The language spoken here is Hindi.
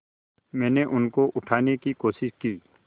मैंने उनको उठाने की कोशिश की